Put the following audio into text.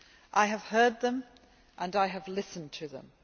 I have heard them and I have listened to them.